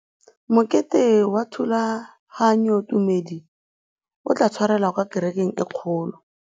Mokete wa thulaganyôtumêdi o tla tshwarelwa kwa kerekeng e kgolo.